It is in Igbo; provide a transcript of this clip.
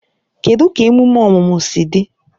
Kedụ ka emume ọmụmụ si dị?